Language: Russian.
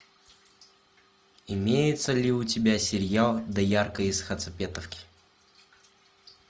имеется ли у тебя сериал доярка из хацапетовки